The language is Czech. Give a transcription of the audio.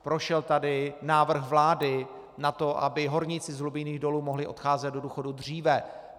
Prošel tady návrh vlády na to, aby horníci z hlubinných dolů mohli odcházet do důchodu dříve.